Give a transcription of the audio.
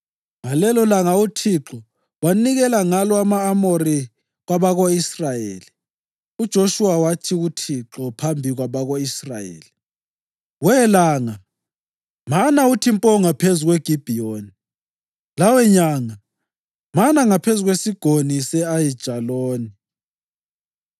Ngalelolanga uThixo wanikela ngalo ama-Amori kwabako-Israyeli, uJoshuwa wathi kuThixo phambi kwabako-Israyeli: “We langa, mana uthi mpo ngaphezu kweGibhiyoni, lawe nyanga, mana ngaphezu kweSigodi se-Ayijaloni.”